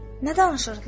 Nə danışırdılar?